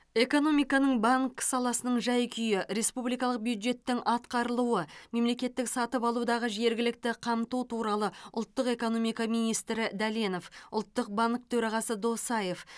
экономиканың банк саласының жай күйі республикалық бюджеттің атқарылуы мемлекеттік сатып алудағы жергілікті қамту туралы ұлттық экономика министрі дәленов ұлттық банк төрағасы досаев